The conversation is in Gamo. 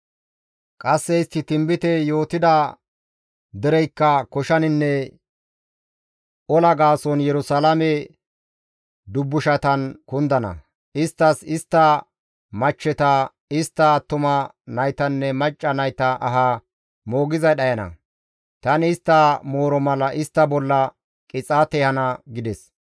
Qasse istti tinbite yootida dereykka koshaninne ola gaason Yerusalaame dubbushatan kundana; isttas, istta machcheta, istta attuma naytanne macca nayta aha moogizay dhayana; tani istta mooro mala istta bolla qixaate ehana» gides.